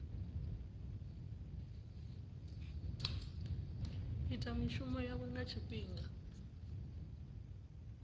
ita mishumo yawe nga tshifhinga